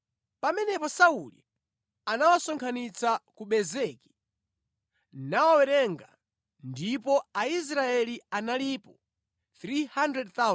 Pamenepo Sauli anawasonkhanitsa ku Bezeki nawawerenga, ndipo Aisraeli analipo 300,000, Ayuda analipo 30,000.